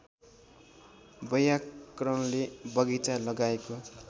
वैयाकरणले बगैंचा लगाएको